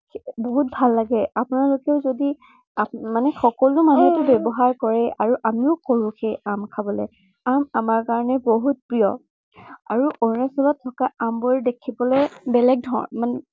বহুত ভাল লাগে। আপোনালোকে যদি মানে সকলো মানুহে ব্য়ৱহাৰ কৰে মানে আমিও কৰো সেই আম খাবলে। আম আমাৰ কাৰনে বহুত প্ৰিয়। আৰু অৰুণাচলত থকা আমবোৰ দেখিবলে বেলেগ ধৰনৰ মানে